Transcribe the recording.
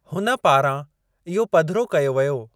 हुन पारां इहो पधिरो कयो वियो।